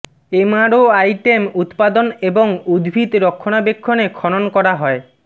MRO item উত্পাদন এবং উদ্ভিদ রক্ষণাবেক্ষণে খনন করা হয়